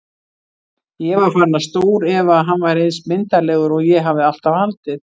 Ég var farin að stórefa að hann væri eins myndarlegur og ég hafði alltaf haldið.